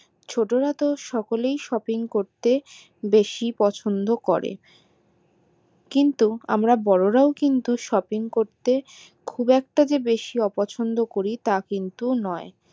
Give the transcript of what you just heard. ছোটোরাতো সকলেই shopping করতে বেশি পছন্দ করে কিন্তু আমরা বোড়োরাও কিন্তু shopping করতে খুব একটা যে বেশি অপছন্দ করি তা কিন্তু নয়